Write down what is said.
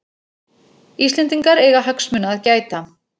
Íslendingar eiga hagsmuna að gæta